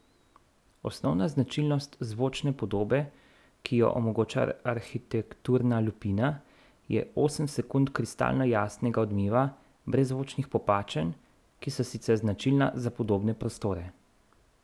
Osnovna značilnost zvočne podobe, ki jo omogoča arhitekturna lupina, je osem sekund kristalno jasnega odmeva brez zvočnih popačenj, ki so sicer značilna za podobne prostore.